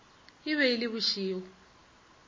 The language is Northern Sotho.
e be e le bošego